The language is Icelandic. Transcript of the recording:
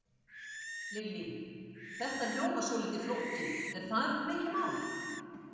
Lillý: Þetta hljómar svolítið flókið, er þetta mikið mál?